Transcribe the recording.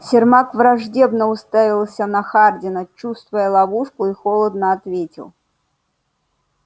сермак враждебно уставился на хардина чувствуя ловушку и холодно ответил